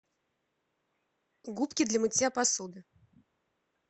губки для мытья посуды